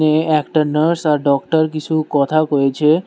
এ একটা নার্স আর ডক্টর কিসু কথা কইছে।